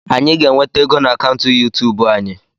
Anyị ga-enweta ego na akaụntụ yuutub anyị.